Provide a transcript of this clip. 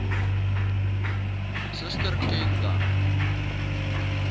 suster ken dan